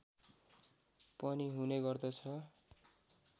पनि हुने गर्दछ